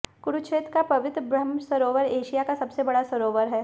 कुरुक्षेत्र का पवित्र ब्रह्मसरोवर एशिया का सबसे बड़ा सरोवर है